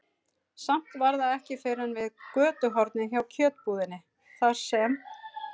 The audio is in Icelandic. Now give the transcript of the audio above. Samt var það ekki fyrr en við götuhornið hjá kjötbúðinni, þar sem